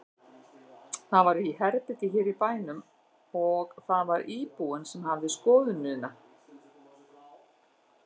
Þetta var í herbergi hér í bænum og það var íbúinn sem hafði skoðunina.